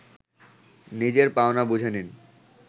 নিজের পাওনা বুঝে নিন